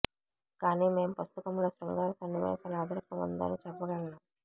కానీ మేము పుస్తకం లో శృంగార సన్నివేశాల అదనపు ఉందని చెప్పగలను